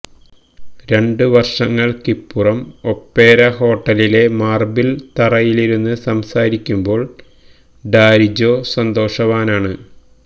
രണ്ട് വര്ഷങ്ങള്ക്കിപ്പുറം ഒപേര ഹോട്ടലിലെ മാര്ബിള് തറയിലിരുന്ന് സംസാരക്കുമ്പോള് ഡാരിജോ സന്തോഷവാനാണ്